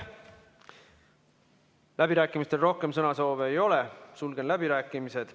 Läbirääkimistel rohkem sõnasoove ei ole, sulgen läbirääkimised.